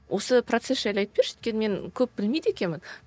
осы процесс жайлы айтып берші өйткені мен көп білмейді екенмін